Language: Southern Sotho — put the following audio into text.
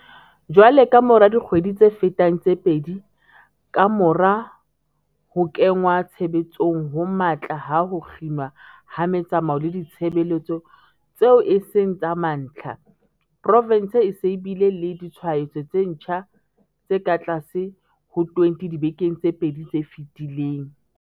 Jwale, kamora dikgwedi tse fetang tse pedi kamora ho kenngwa tshebetsong ho matla ha ho kginwa ha metsamao le ditshebeletso tseo e seng tsa mantlha, provense e se e bile le ditshwaetso tse ntjha tse katlase ho 20 dibekeng tse pedi tse fetileng.